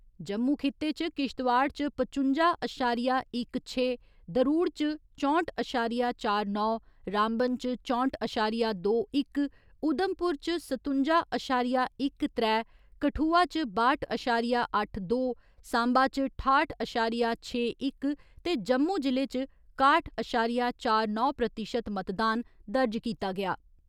जम्मू खिते च किश्तवाड़ च पचुंजा अशारिया इक छे, दरूड़ च चौंह्‌ट अशारिया चार नौ, रामबन च चौंह्‌ट अशारिया दो इक, उधमपुर च सतुंजा अशारिया इक त्रै, कठुआ च बाह्‌ट अशारिया अट्ठ दो, साम्बा च ठाह्‌ट अशारिया छे इक ते जम्मू जि'ले च काह्‌ट अशारिया चार नौ प्रतिशत मतदान दर्ज कीता गेआ।